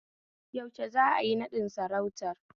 Yaushe za'ayi naɗin sarautar?